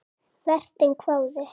Vertinn hváði.